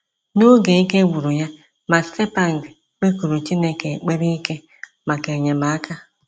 N’oge ike gwụrụ ya, Matsepang kpekuru Chineke ekpere ike maka enyemaka.